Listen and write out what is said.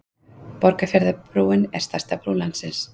Borgarfjarðarbrúin er stærsta brú landsins.